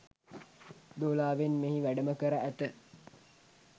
දෝලාවෙන් මෙහි වැඩම කර ඇත